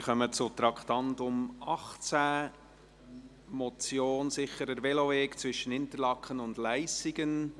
Wir kommen zum Traktandum 18, einer Motion mit dem Titel «Sicherer Veloweg zwischen Interlaken und Leissigen».